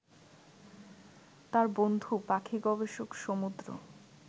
তার বন্ধু পাখি গবেষক সমুদ্র